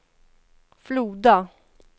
Floda